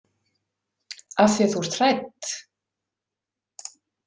Af því að þú ert hrædd?